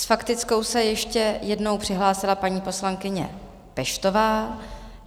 S faktickou se ještě jednou přihlásila paní poslankyně Peštová.